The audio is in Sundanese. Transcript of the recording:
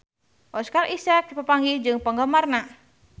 Oscar Isaac papanggih jeung penggemarna